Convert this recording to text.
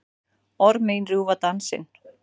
Orð mín rjúfa dansinn.